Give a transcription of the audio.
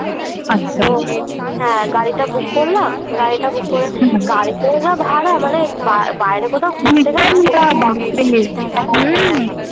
হ্যাঁ গাড়িটা Book করলাম ।গাড়িটা Book করে হুম গাড়িতেও যা ভাড়া মানে বাবাইরে কোথাও ঘুরতে হুম হ্যাঁ হ্যাঁ